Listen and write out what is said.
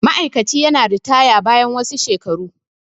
ma'aikaci yana ritaya bayan wasu shelaru